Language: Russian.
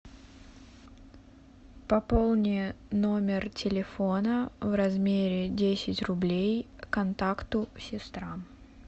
пополни номер телефона в размере десять рублей контакту сестра